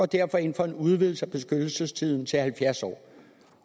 derfor ind for en udvidelse af beskyttelsestiden til halvfjerds år